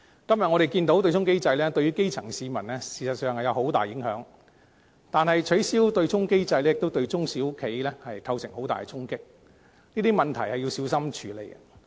今天，我們看到對沖機制對於基層市民事實上有很大影響，但是，取消對沖機制亦對中小企帶來很大的衝擊，這些問題需要小心處理。